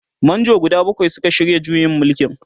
manjo guda bakwai Suka shirya juyin mulkin.